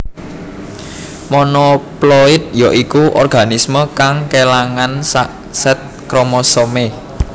Monoploid ya iku organisme kang kélangan sak sèt kromosomé